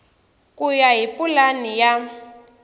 ku ya hi pulani ya